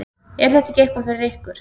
Er þetta ekki eitthvað fyrir ykkur